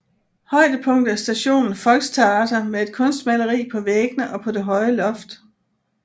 Højdepunktet er stationen Volkstheater med et kunstmaleri på væggene og på det høje loft